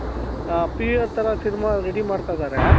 ಆ PVRತರ ಸಿನಿಮಾ ready ಮಾಡ್ತಾ ಇದಾರೆ